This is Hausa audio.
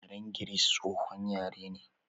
Yaren Giris, tsohon yare ne.